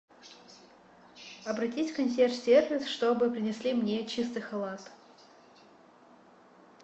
обратись в консьерж сервис чтобы принесли мне чистый халат